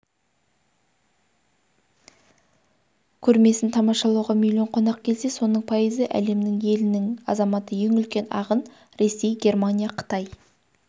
көрмесін тамашалауға миллион қонақ келсе соның пайызы әлемнің елінің азаматы ең үлкен ағын ресей германия қытай